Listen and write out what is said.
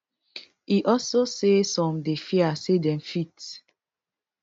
e also say some dey fear say dem fit